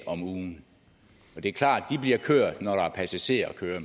om ugen og det er klart at de bliver kørt når der er passagerer at køre